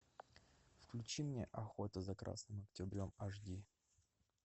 включи мне охота за красным октябрем аш ди